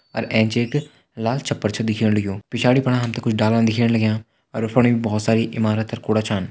अर एंच एक लाल छप्पर छ दिखेण लग्युं पिछाड़ी फणा हम तें कुछ डाला दिखेण लग्यां अर उंफणी भोत सारी इमारत अर कुड़ा छन।